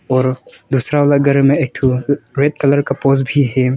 और दूसरा वाला घर में एक थू रेड कलर का पोज भी है।